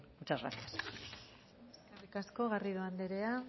muchas gracias eskerrik asko garrido andrea